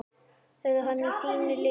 Verður hann í þínu liði?